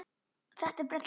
Þetta er brella.